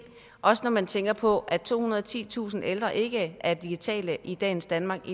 også når man tænker på at tohundrede og titusind ældre ikke er digitale i dagens danmark